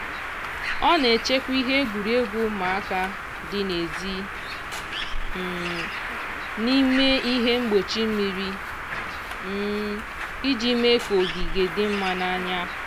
ọ na-echekwa ihe egwuregwu ụmụaka dị n'ezi um n'ime ihe mgbochi mmiri um iji mee ka ogige dị mma n'anya.